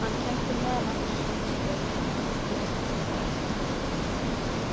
Hann kenndi meðal annars námskeið í hagnýtri sálfræði.